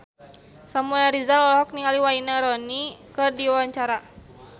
Samuel Rizal olohok ningali Wayne Rooney keur diwawancara